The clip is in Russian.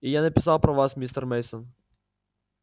и я написал про вас мистер мейсон